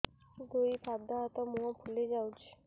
ଦୁଇ ପାଦ ହାତ ଏବଂ ମୁହଁ ଫୁଲି ଯାଉଛି